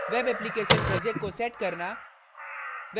web application project को set करना